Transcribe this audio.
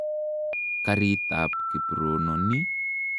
Karit ap Kiprono ni.